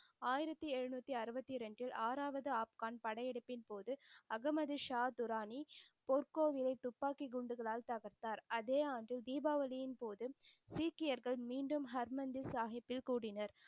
ஆயிரத்தி எழுநூத்தி அறுபத்தி ரெண்டு ஆறாவது ஆஃப்கன் படையெடுப்பின் போது அஹமது ஷா துராணி பொற்கோவிலை துப்பாக்கிக் குண்டுகளால் தகர்த்தார். அதே ஆண்டு தீபாவளியின் போது சீக்கியர்கள் மீண்டும் ஹர்மந்திர் சாஹிபில் கூடினர்.